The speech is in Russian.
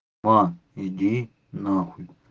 а иди нахуй